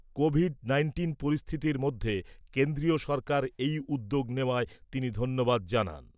Covid nineteen পরিস্থিতির মধ্যে কেন্দ্রীয় সরকার এই উদ্যোগ নেওয়ায় তিনি ধন্যবাদ জানান।